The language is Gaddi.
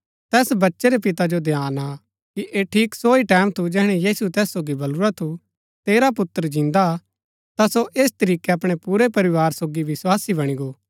तैस बच्चै रै पिता जो ध्यान आ कि ऐह ठीक सो ही टैमं थू जैहणै यीशुऐ तैस सोगी बलुरा थू तेरा पुत्र जिन्दा हा ता सो ऐस तरीकै अपणै पुरै परिवार सोगी विस्वासी बणी गो